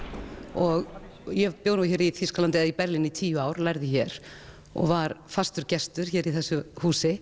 og ég bjó nú hér í Þýskalandi eða Berlín í tíu ár lærði hér og var fastur gestur hér í þessu húsi